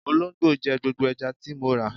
Olóńgbò jẹ gbogbo ẹja tí mo rà.